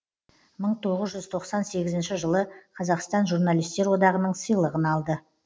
мың тоғыз жүз тоқсан сегізінші жылы қазақстан журналистер одағының сыйлығын алды